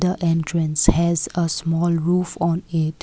the entrance has a small roof on it.